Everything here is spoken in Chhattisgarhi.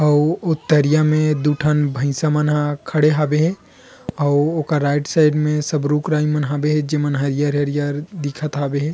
औ और उतरिया म दू ठन भइसा मन हा खड़ा हवे और ओकर राइट साइड रूप रंग मन हवे जेन में हरियर हरियर दिखत हवे ।--